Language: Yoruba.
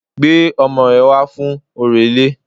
Gbé ọmọ rẹ wá fún orò ilé